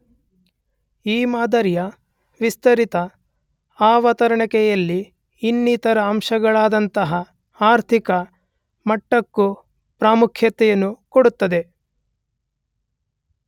ಈ ಮಾದರಿಯ ವಿಸ್ತರಿತ ಅವತರಣಿಕೆಯಲ್ಲಿ ಇನ್ನಿತರೆ ಅಂಶಗಳಾದಂತಹ ಆರ್ಥಿಕ ಮಟ್ಟಕ್ಕು ಪ್ರಾಮುಖ್ಯತೆಯನ್ನು ಕೊಡುತ್ತದೆ